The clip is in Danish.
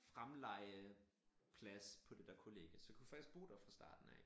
Fremlejeplads på det dér kollgie så jeg kunne faktisk bo der fra starten af